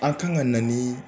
An kan ka na ni